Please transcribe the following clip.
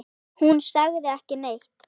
Hún sagði ekki neitt.